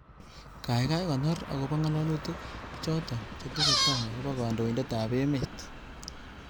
Gaigai konoor agoba ngalalutik choto chetesetai agoba kandoindetab emet